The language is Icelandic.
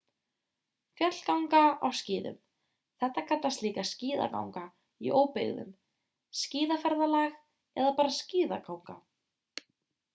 fjallganga á skíðum þetta kallast líka skíðaganga í óbyggðum skíðaferðalag eða bara skíðaganga